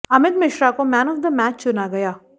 अमित मिश्रा को man of the match चुना गया